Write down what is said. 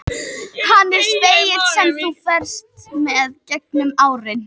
Hann er spegill sem þú ferðast með gegnum árin.